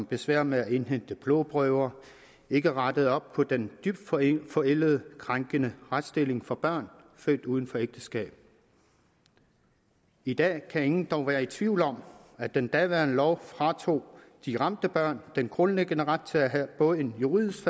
besvær med at indhente blodprøver ikke rettede op på den dybt forældede forældede krænkende retsstilling for børn født uden for ægteskab i dag kan ingen dog være i tvivl om at den daværende lov fratog de ramte børn den grundlæggende ret til at have både en juridisk